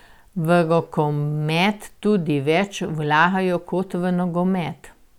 V rokomet tudi več vlagajo kot v nogomet.